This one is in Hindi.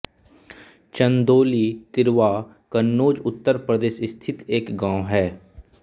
चन्दौली तिरवा कन्नौज उत्तर प्रदेश स्थित एक गाँव है